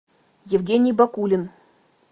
евгений бакулин